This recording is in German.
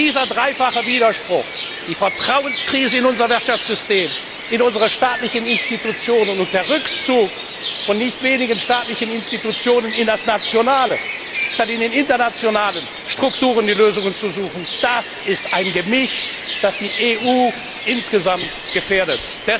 Dieser dreifache Widerspruch, die Krise des Vertrauens in unser Wirtschaftssystem, in unsere staatlichen Institutionen und der Rückzug von nicht wenigen staatlichen Institutionen in das Nationale, statt die Lösungen in den internationalen Strukturen zu suchen das ist ein Gemisch, das die EU insgesamt gefährdet.